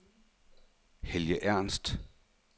Helge Ernst